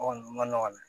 O kɔni ma nɔgɔn dɛ